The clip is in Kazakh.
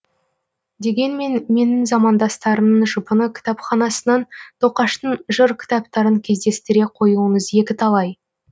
дегенмен менің замандастарымның жұпыны кітапханасынан тоқаштың жыр кітаптарын кездестіре қоюыңыз екіталай